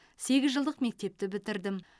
сегіз жылдық мектепті бітірдім